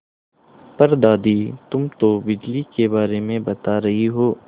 पर दादी तुम तो बिजली के बारे में बता रही हो